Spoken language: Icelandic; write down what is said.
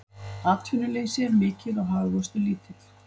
Atvinnuleysi er mikið og hagvöxtur lítill